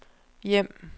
hjem